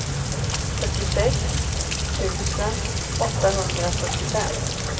fyrtiosex tusen åttahundrasjuttiofem